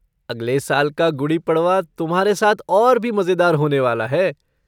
अगले साल का गुड़ी पड़वा तुम्हारे साथ और भी मजेदार होने वाला है!